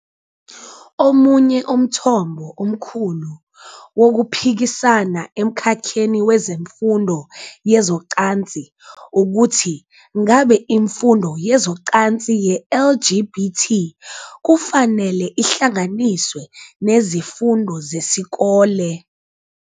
Omunye umthombo omkhulu wokuphikisana emkhakheni wezemfundo yezocansi ukuthi ngabe imfundo yezocansi ye-LGBT kufanele ihlanganiswe nezifundo zesikole.